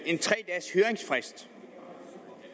en tre dages høringsfrist